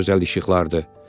Çox gözəl işıqlardır.